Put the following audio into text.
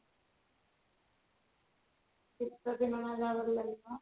ଶିତ ଦିନ ନହେଲେ ଲାଗିବ